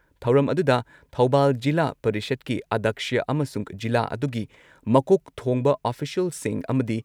ꯊꯧꯔꯝ ꯑꯗꯨꯨꯗ ꯊꯧꯕꯥꯜ ꯖꯤꯂꯥ ꯄꯔꯤꯁꯗꯀꯤ ꯑꯗꯛꯁ꯭ꯌ ꯑꯃꯁꯨꯡ ꯖꯤꯂꯥ ꯑꯗꯨꯒꯤ ꯃꯀꯣꯛ ꯊꯣꯡꯕ ꯑꯣꯐꯤꯁꯤꯌꯦꯜꯁꯤꯡ ꯑꯃꯗꯤ